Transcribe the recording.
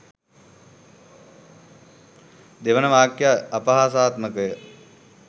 දෙවන වක්‍යය අපහාසාත්මකය